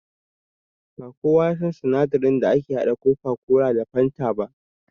Ba kowa yasan sinadarin da ake haɗa coca-cola da fanta ba